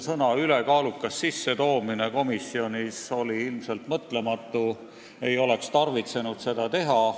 Sõna "ülekaalukas" sissetoomine komisjonis oli ilmselt mõtlematu, seda ei oleks tarvitsenud teha.